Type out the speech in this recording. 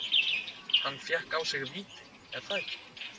Hann fékk á sig víti, er það ekki?